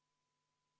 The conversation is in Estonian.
Muudatusettepanek nr 2.